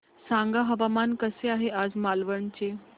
सांगा हवामान कसे आहे आज मालवण चे